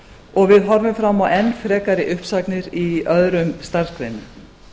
og við horfum fram á enn frekari uppsagnir í öðrum starfsgreinum